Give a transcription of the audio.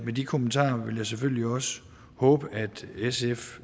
de kommentarer vil jeg selvfølgelig også håbe at sf